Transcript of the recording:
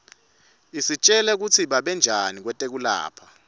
isitjela kutsi babentanjani kwetekulapha